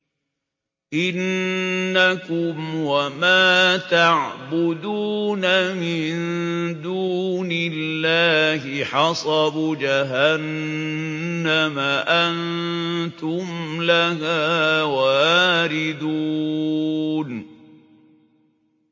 إِنَّكُمْ وَمَا تَعْبُدُونَ مِن دُونِ اللَّهِ حَصَبُ جَهَنَّمَ أَنتُمْ لَهَا وَارِدُونَ